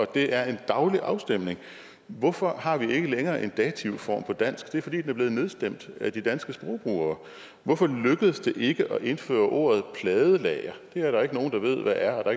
det er en daglig afstemning hvorfor har vi ikke længere en dativform på dansk det er fordi er blevet nedstemt af de danske sprogbrugere hvorfor lykkedes ikke at indføre ordet pladelager det er der ikke nogen der ved hvad er og